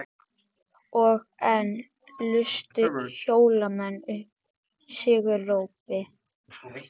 Og enn lustu Hólamenn upp sigurópi.